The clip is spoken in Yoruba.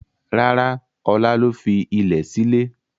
Rárá, Ọlá ló fi ilẹ̀ sílè.